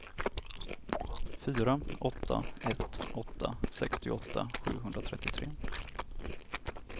fyra åtta ett åtta sextioåtta sjuhundratrettiotre